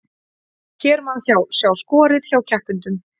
Hér má sjá skorið hjá keppendum